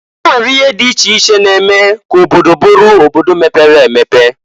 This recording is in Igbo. E nwere ihe dị iche iche na-eme ka obodo bụrụ obodo mepere emepe.